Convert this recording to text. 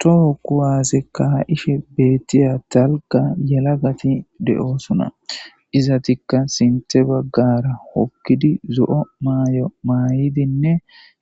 toho kuwasekka ka'ishe beettiya talga yela gafi de7osuna izatikka sinte baggara hokkidi zo7o maayo maay7idinne